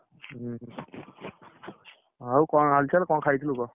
ଉଁ ହୁଁ, ଆଉ କଣ ହାଲଚାଲ? କଣ ଖାଇଥିଲୁ କଣ?